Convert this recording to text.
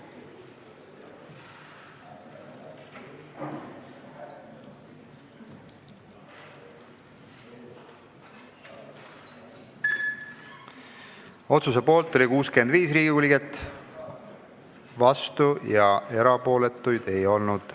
Hääletustulemused Otsuse poolt oli 65 Riigikogu liiget, vastuolijaid ega erapooletuid ei olnud.